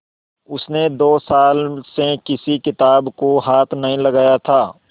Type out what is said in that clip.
उसने दो साल से किसी किताब को हाथ नहीं लगाया था